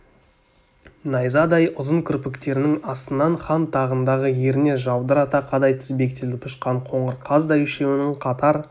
найзадай ұзын кірпіктерінің астынан хан тағындағы еріне жаудырата қадай тізбектеліп ұшқан қоңыр қаздай үшеуінің қатар